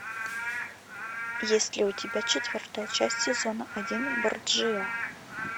есть ли у тебя четвертая часть сезона один борджиа